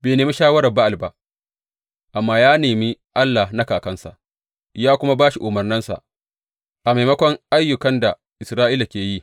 Bai nemi shawarar Ba’al ba amma ya nemi Allah na kakansa ya kuma bi umarnansa a maimakon ayyukan da Isra’ila ke yi.